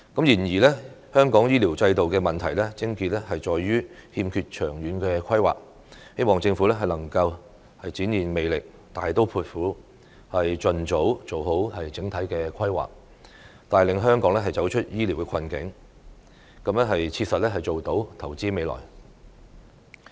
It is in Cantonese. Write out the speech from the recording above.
然而，香港醫療制度的問題癥結在於欠缺長遠規劃，希望政府能夠展現魄力，大刀闊斧，盡早做好整體規劃，帶領香港走出醫療困局，切實做到投資未來。